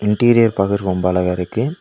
Interior பாக்கற்துக்கு ரொம்ப அழகா இருக்கு.